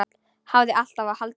Hafði alltaf haldið.